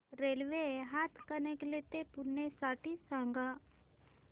railway Hatkanangale ते पुणे साठी सांगा